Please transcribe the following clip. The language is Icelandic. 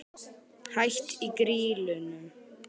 Hætt í Grýlunum?